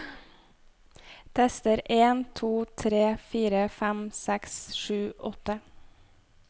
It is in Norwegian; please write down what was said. Tester en to tre fire fem seks sju åtte